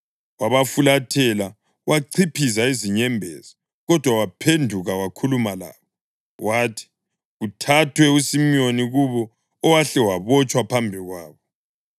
Wabafulathela wachiphiza izinyembezi, kodwa waphenduka wakhuluma labo. Wathi kuthathwe uSimiyoni kubo owahle wabotshwa phambi kwabo.